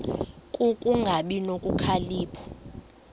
ku kungabi nokhalipho